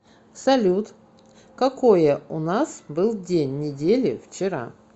салют какое у нас был день недели вчера